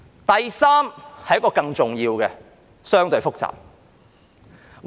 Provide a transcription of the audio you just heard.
第三是更重要和相對複雜的。